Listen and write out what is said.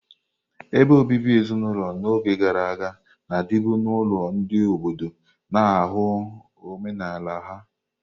Ebe obibi ezinulo n'oge gara aga na-adịbu n'ụlọ ndị obodo, na-ahụ omenala ha.